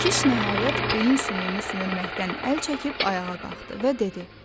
Kiş nəhayət beyin sümüyünü sümürməkdən əl çəkib ayağa qalxdı və dedi: